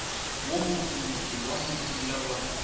wo mosomoso wa morula wa